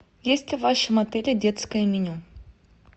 есть ли в вашем отеле детское меню